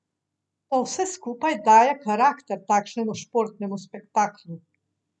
To vse skupaj daje karakter takšnemu športnemu spektaklu.